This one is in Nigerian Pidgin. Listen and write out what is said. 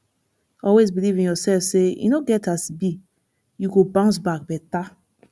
always beliv in urself say e no get as bi yu go bounce back beta